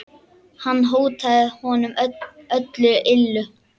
Hann hótaði honum öllu illu.